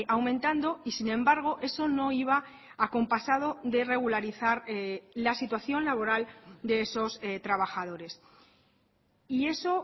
aumentando y sin embargo eso no iba acompasado de regularizar la situación laboral de esos trabajadores y eso